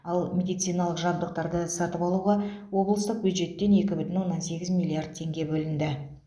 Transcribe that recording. ал медициналық жабдықтарды сатып алуға облыстық бюджеттен екі бүтін оннан сегіз миллиард теңге бөлінді